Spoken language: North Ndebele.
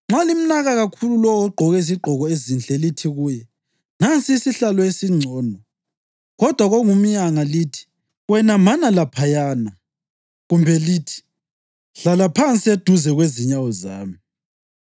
Nxa limnaka kakhulu lowo ogqoke izigqoko ezinhle lithi kuye, “Nansi isihlalo esingcono,” kodwa kongumyanga lithi, “Wena mana laphayana,” kumbe lithi, “Hlala phansi eduze kwezinyawo zami,”